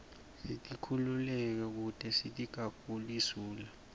sikitululeke kute sitiga guli zula